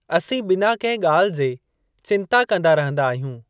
असीं बिना कंहि ॻाल्हि जे चिंता कंदा रहंदा आहियूं।